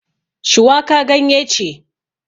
Shuwaka ganye ce